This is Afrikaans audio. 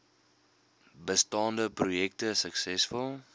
bestaande projekte suksesvol